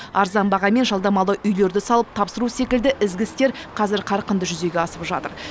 арзан бағамен жалдамалы үйлерді салып тапсыру секілді ізгі істер қазір қарқынды жүзеге асып жатыр